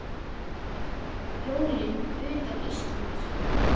Jólin utan Íslands